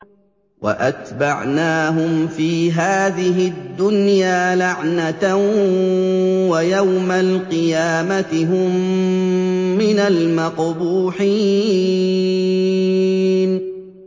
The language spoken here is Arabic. وَأَتْبَعْنَاهُمْ فِي هَٰذِهِ الدُّنْيَا لَعْنَةً ۖ وَيَوْمَ الْقِيَامَةِ هُم مِّنَ الْمَقْبُوحِينَ